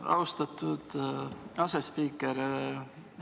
Aitäh, austatud asespiiker!